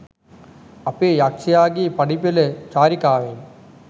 අපේ යක්ෂයාගේ පඩිපෙල චාරිකාවෙන්.